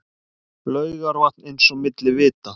Laugarvatn eins og milli vita.